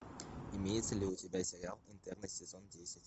имеется ли у тебя сериал интерны сезон десять